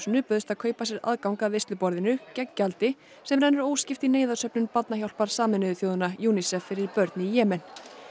bauðst að kaupa sér aðgang að veisluborðinu gegn gjaldi sem rennur óskipt í Barnahjálpar Sameinuðu þjóðanna UNICEF fyrir börn í Jemen